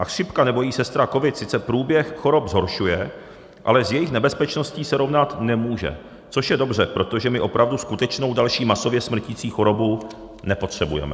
A chřipka nebo její sestra covid sice průběh chorob zhoršuje, ale s jejich nebezpečností se rovnat nemůže, což je dobře, protože my opravdu skutečnou další masově smrtící chorobu nepotřebujeme.